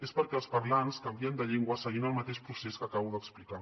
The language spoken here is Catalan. és perquè els parlants canvien de llengua seguint el mateix procés que acabo d’explicar